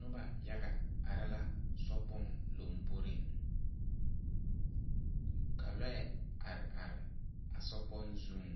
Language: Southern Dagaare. Nuba yaga arẽ la sokpon lɔmboring ka lɔɛ arẽ arẽ a sokpong zung